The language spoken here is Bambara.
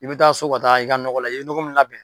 I bɛ taa so ka taa i ka nɔgɔ la i ye nɔgɔ min labɛn